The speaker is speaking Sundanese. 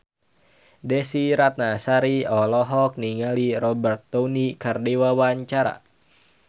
Desy Ratnasari olohok ningali Robert Downey keur diwawancara